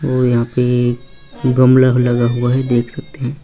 और यहाँ पे गमला भी लगा हुआ है देख सकते हैं।